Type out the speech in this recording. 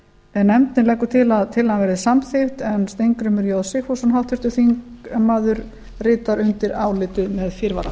en nefndin leggur til að tillagan verði samþykkt en steingrímur j sigfússon háttvirtur þingmaður ritar undir álitið með fyrirvara